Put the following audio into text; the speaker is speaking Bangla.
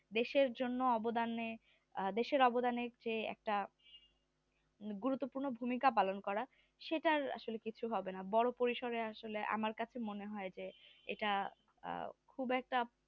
দেশের জন্য অবদানে দেশের অবদানে যে একটা গুরুত্বপূর্ণ ভূমিকা পালন করা সেটাই আসলে কিছু হবে না বড়ো পরিসরে আসলে আমার কাছে মনে হয় যে এইটা আহ খুব একটা